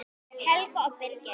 Helga og Birgir.